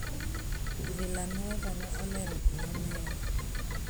Villanueva ne olero gimomiyo: